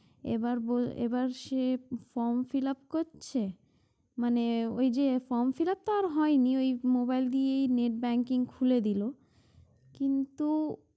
এবার বল~ এবার সে form fill up করছে মানে ওই যে form fill up তো হয় নি ওই mobile দিয়ে net banking খুলে দিলো কিন্তু